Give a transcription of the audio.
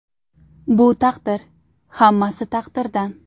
Bu taqdir, hammasi taqdirdan.